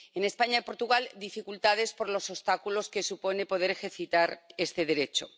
en España y Portugal, dificultades por los obstáculos existentes para poder ejercitar este derecho.